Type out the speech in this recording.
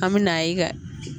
An mɛn'a ye kɛ